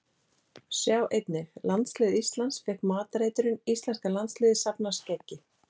Sjá einnig: Landslið Íslands fékk matareitrun Íslenska landsliðið safnar skeggi